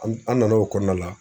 An an nan'o kɔɔna la